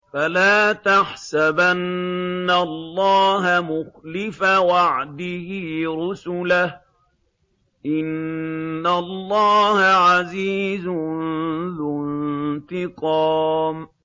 فَلَا تَحْسَبَنَّ اللَّهَ مُخْلِفَ وَعْدِهِ رُسُلَهُ ۗ إِنَّ اللَّهَ عَزِيزٌ ذُو انتِقَامٍ